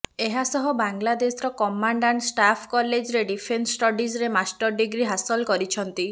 ଏହା ସହ ବାଂଲାଦେଶର କମାଣ୍ଡ ଆଣ୍ଡ ଷ୍ଟାଫ୍ କଲେଜରେ ଡିଫେନ୍ସ ଷ୍ଟଡିଜ୍ରେ ମାଷ୍ଟର ଡିଗ୍ରୀ ହାସଲ କରିଛନ୍ତି